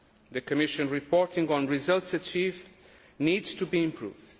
The Commission's reporting on results achieved needs to be improved.